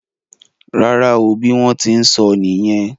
Rárá o. Bí wón tí n sóó nìyen.